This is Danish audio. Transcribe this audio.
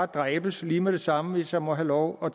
dræbes lige med det samme hvis jeg må have lov at